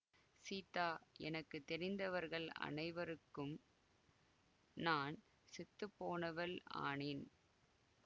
சீதா எனக்கு தெரிந்தவர்கள் அனைவருக்கும் நான் செத்து போனவள் ஆனேன்